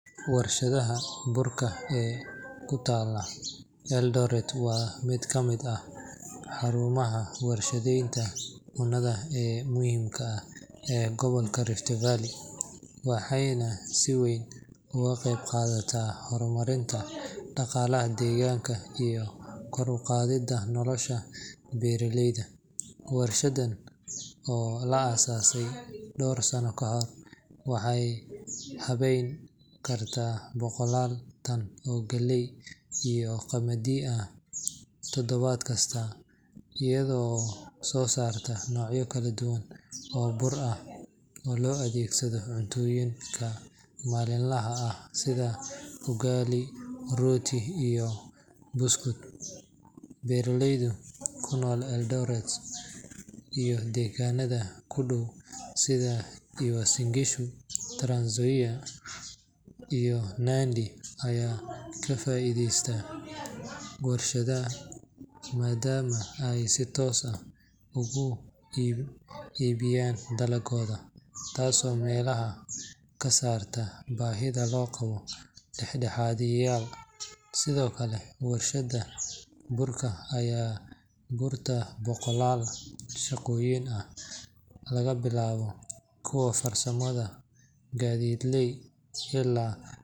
Warshadda burka ee ku taalla Eldoret waa mid ka mid ah xarumaha warshadeynta cunnada ee muhiimka ah ee gobolka Rift Valley, waxayna si weyn uga qayb qaadataa horumarinta dhaqaalaha deegaanka iyo kor u qaadidda nolosha beeraleyda. Warshaddan oo la aas aasay dhowr sano ka hor, waxay habeyn kartaa boqollaal tan oo galley iyo qamadi ah toddobaad kasta, iyada oo soo saarta noocyo kala duwan oo bur ah oo loo adeegsado cuntooyinka maalinlaha ah sida ugali, rooti, iyo buskud. Beeraleyda ku nool Eldoret iyo deegaannada u dhow sida Uasin Gishu, Trans Nzoia, iyo Nandi ayaa ka faa’iideysta warshadda maadaama ay si toos ah ugu iibiyaan dalaggooda, taasoo meesha ka saarta baahida loo qabo dhexdhexaadiyayaal. Sidoo kale, warshadda burka ayaa abuurtay boqollaal shaqooyin ah, laga bilaabo kuwa farsamada, gaadiidleyda, ilaa.